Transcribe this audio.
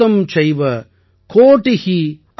अन्त्यं मध्यं परार्ध च दश वृद्ध्या यथा क्रमम् ||